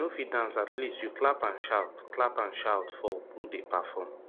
if you no fit dance at least you clap and shout clap and shout for who dey perform